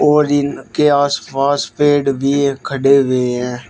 और इनके आसपास पेड़ भी एक खड़े हुए हैं।